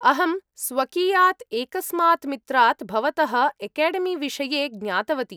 अहं स्वकीयात् एकस्मात् मित्रात् भवतः एकेडेमीविषये ज्ञातवती।